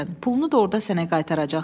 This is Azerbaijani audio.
Pulunu da orda sənə qaytaracaqlar.